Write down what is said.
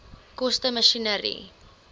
koste masjinerie